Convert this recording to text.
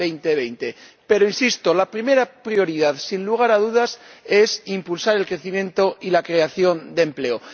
2020. Pero, insisto, la primera prioridad, sin lugar a dudas, es impulsar el crecimiento y la creación de empleo.